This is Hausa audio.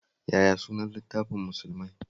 Yaya sunan littafin Musulmai?